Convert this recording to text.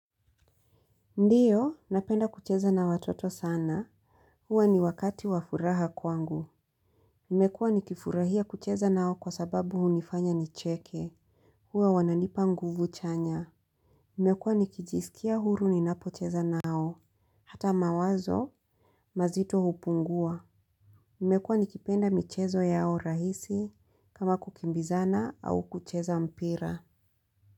Ndiyo, napenda kucheza na watoto sana. Huwa ni wakati wafuraha kwangu. Nimekuwa nikifurahia kucheza nao kwa sababu hunifanya nicheke. Huwa wananipa nguvu chanya. Nimekuwa nikijisikia huru ni napocheza nao. Hata mawazo, mazito hupungua. Nimekuwa nikipenda michezo yao rahisi kama kukimbizana au kucheza mpira.